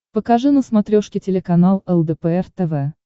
покажи на смотрешке телеканал лдпр тв